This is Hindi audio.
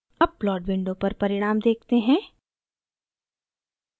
अब plot window पर परिणाम देखते हैं